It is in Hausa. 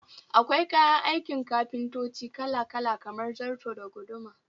Akwai kayan aikin kafintanci Kala-kala kamar zarto da guduma